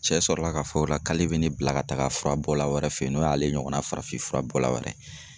Cɛ sɔrɔ la ka fɔ o la k'ale be ne bila ka taga fura bɔla wɛrɛ fe yen, n'o y'ale ɲɔgɔnna farafin fura bɔla wɛrɛ ye.